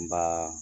N ba